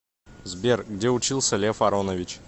сбер где учился лев аронович